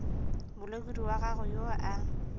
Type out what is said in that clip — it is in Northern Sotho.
molekodi wa gago yo a